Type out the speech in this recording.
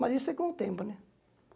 Mas isso é com o tempo, né?